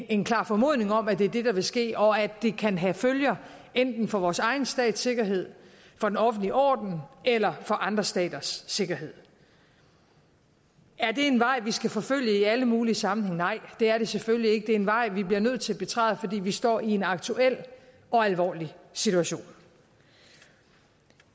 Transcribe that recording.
en klar formodning om at det er det der vil ske og at det kan have følger enten for vores egen stats sikkerhed for den offentlige orden eller for andre staters sikkerhed er det en vej vi skal forfølge i alle mulige sammenhænge nej det er det selvfølgelig ikke det er en vej vi bliver nødt til at betræde fordi vi står i en aktuel og alvorlig situation